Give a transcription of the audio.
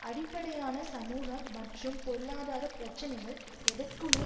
அடிப்படையான சமூக மற்றும் பொருளாதார பிரச்சினைகள் எதற்குமே